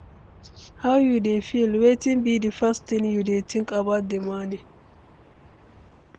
how you dey feel, wetin be di first thing you dey think about di morning?